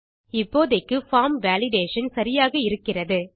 இப்போதைக்கு form validation சரியாக இருக்கிறது